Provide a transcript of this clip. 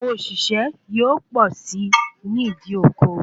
Awọn òṣìṣẹ́ yóò pọ̀ si nìdí oko